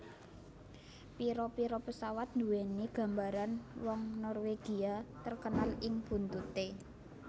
Pira pira pesawat nduwèni gambar wong Norwegia terkenal ing buntuté